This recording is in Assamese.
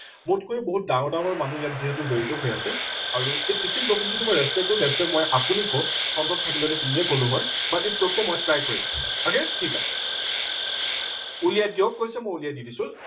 মোতকৈ বহুত ডাঙৰ ডাঙৰ মানুহ ইয়াত যিহেতু জড়িত হৈ আছে আৰু এই teaching profession টো মই respect কৰো that's why মই আপোনি কও front ত থাকিলে হয়তো মই তুমি কলো হয়। but its ok মই try কৰিম ঠিক আছে। উলিয়াই দিয়ক কৈছে মই উলিয়াই দি আছো